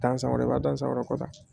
Dansan wɛrɛ b'a dansan wɛrɛ kɔ dɛ